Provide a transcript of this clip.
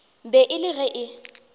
be e le ge e